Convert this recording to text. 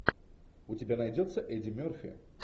у тебя найдется эдди мерфи